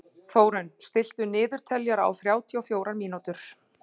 Þórunn, stilltu niðurteljara á þrjátíu og fjórar mínútur.